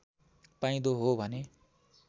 पाइँदो हो भने